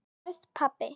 Verð pabbi.